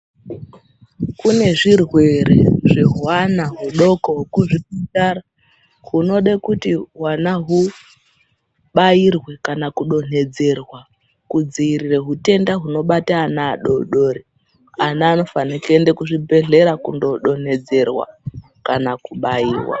Kune zvirwere zvehwana hudoko kuzvipatara kunode kuti hwana hubairwe kana kudonhedzerwa kudziirire hutenda hunobate ana adodori .Ana anofane kuenda kuzvibhedhleya kundodonhedzerwa kana kubairwa.